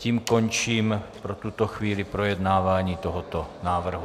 Tím končím pro tuto chvíli projednávání tohoto návrhu.